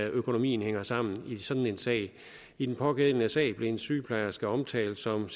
økonomien hænger sammen i sådan en sag i den pågældende sag blev en sygeplejerske omtalt som